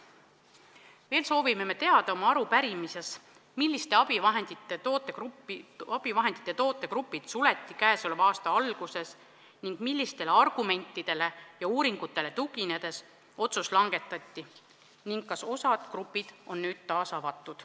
Veel soovime arupärimises teada, milliste abivahendite tootegrupid suleti käesoleva aasta alguses, millistele argumentidele ja uuringutele tuginedes otsus langetati ning kas osa gruppe on nüüd taas avatud.